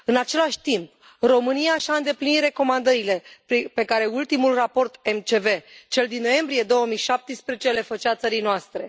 În același timp, România și a îndeplinit recomandările pe care ultimul raport MCV, cel din noiembrie 2017, le făcea țării noastre.